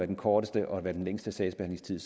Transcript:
den korteste og den længste sagsbehandlingstid